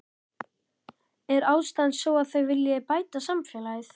Er ástæðan sú að þau vilji bæta samfélagið?